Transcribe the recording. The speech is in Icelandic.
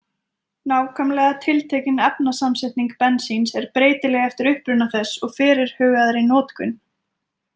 Nákvæmlega tiltekin efnasamsetning bensíns er breytileg eftir uppruna þess og fyrirhugaðri notkun.